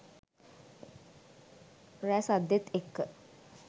රැ සද්දෙත් එක්ක